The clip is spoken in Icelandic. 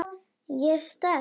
Ég er sterk.